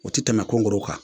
O ti tɛmɛ kongoro kan